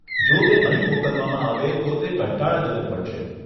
જો તે અહીં મોકલવામાં આવે તો તે કંટાળાજનક બનશે.